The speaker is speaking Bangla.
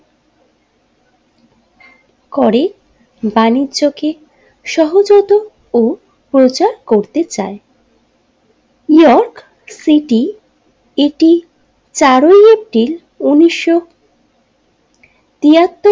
করে বাণিজ্যকে সহজাত ও প্রচার করতে চায় নিউ ইয়র্ক সিটি এটি চারই এপ্রিল উনিশশো তেয়াত্তর।